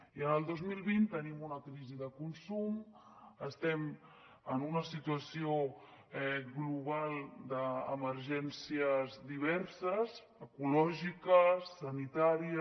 i en el dos mil vint tenim una crisi de consum estem en una situació global d’emergències diverses ecològica sanitària